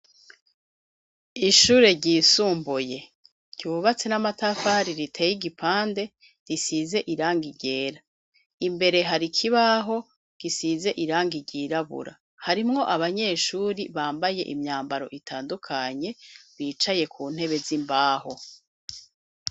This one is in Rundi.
Ishure ryisumbuye ryubatse n'amatafari riteye igipande, risize irangi ryera, imbere hari kibaho gisize irangi ryirabura harimwo abanyeshure bambaye imyambaro itandukanye bicaye ku ntebe z'imbaho.